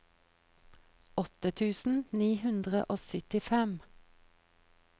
åtte tusen ni hundre og syttifem